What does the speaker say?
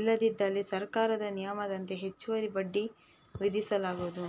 ಇಲ್ಲದಿದ್ದಲ್ಲಿ ಸರಕಾರದ ನಿಯಮದಂತೆ ಹೆಚ್ಚುವರಿ ಬಡ್ಡಿ ವಿಧಿಸಲಾಗುವುದು